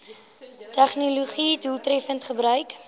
tegnologië doeltreffend gebruik